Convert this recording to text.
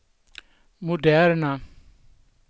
moderna